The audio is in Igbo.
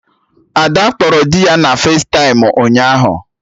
Ada kpọrọ dị ya na festaịm ụnyaahụ